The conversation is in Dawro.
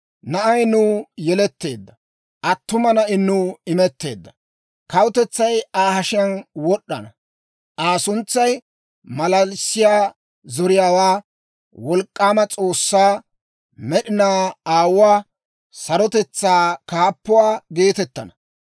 Na'ay nuw yeletteedda! Attuma na'i nuw imetteedda! Kawutetsay Aa hashiyaan wod'd'ana; Aa suntsay, «Maalalissiyaa Zoriyaawaa, Wolk'k'aama S'oossaa, Med'inaa Aawuwaa, Sarotetsaa Kaappuwaa» geetettana.